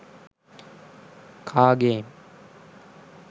car game